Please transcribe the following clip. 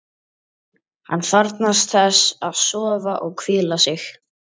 Hann þarfnast þess að sofa og hvíla sig.